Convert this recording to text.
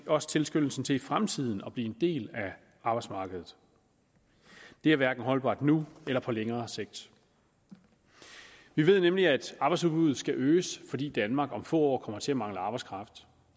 også tilskyndelsen til i fremtiden at blive en del af arbejdsmarkedet det er hverken holdbart nu eller på længere sigt vi ved nemlig at arbejdsudbuddet skal øges fordi danmark om få år kommer til at mangle arbejdskraft